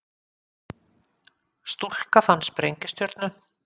Stúlka fann sprengistjörnu